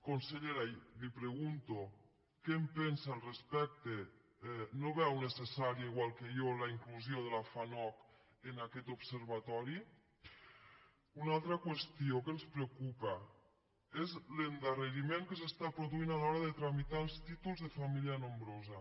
consellera li pregunto què en pensa no veu necessària igual que jo la inclusió de la fanoc en aquest observatori una altra qüestió que ens preocupa és l’endarreriment que s’està produint a l’hora de tramitar els títols de família nombrosa